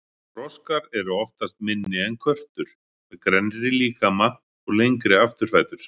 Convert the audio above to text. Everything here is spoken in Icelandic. Froskar eru oftast minni en körtur, með grennri líkama og lengri afturfætur.